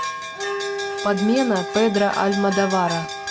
подмена педро альмодовара